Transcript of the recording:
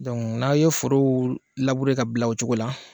Donc n'a ye forow labure ka bila o cogo la